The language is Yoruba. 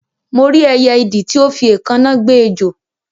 Mo rí ẹyẹ idì ti o fi éèkáná gbe ejò